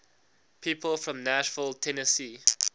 people from nashville tennessee